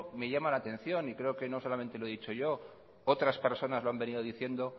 me llama la atención y creo que no solamente lo he dicho yo otras personas lo han venido diciendo